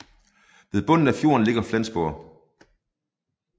Ved bunden af fjorden ligger Flensborg